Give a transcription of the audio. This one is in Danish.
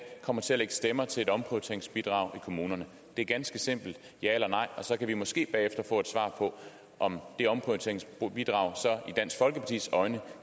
kommer til at lægge stemmer til et omprioriteringsbidrag i kommunerne det er ganske simpelt ja eller nej og så kan vi måske bagefter få et svar på om det omprioriteringsbidrag så i dansk folkepartis øjne